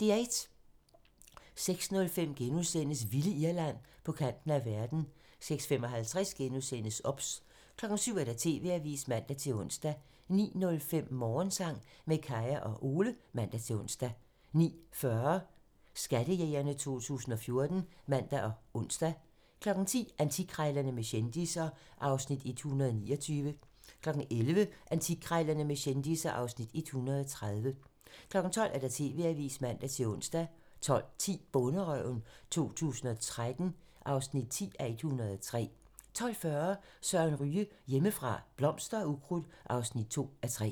06:05: Vilde Irland - på kanten af verden * 06:55: OBS * 07:00: TV-avisen (man-ons) 09:05: Morgensang med Kaya og Ole (man-ons) 09:40: Skattejægerne 2014 (man og ons) 10:00: Antikkrejlerne med kendisser (Afs. 129) 11:00: Antikkrejlerne med kendisser (Afs. 130) 12:00: TV-avisen (man-ons) 12:10: Bonderøven 2013 (10:103) 12:40: Søren Ryge: Hjemmefra - blomster og ukrudt (2:3)